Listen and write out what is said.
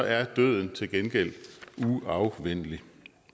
er døden til gengæld uafvendelig